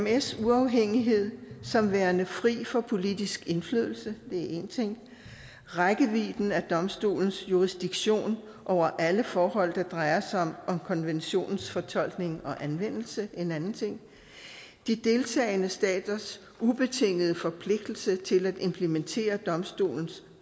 emds uafhængighed som værende fri for politisk indflydelse det er én ting rækkevidden af domstolens jurisdiktion over alle forhold der drejer sig om konventionens fortolkning og anvendelse det en anden ting de deltagende staters ubetingede forpligtelse til at implementere domstolens